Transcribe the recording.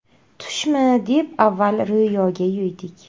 Tushmi, deb avval Ro‘yoga yo‘ydik.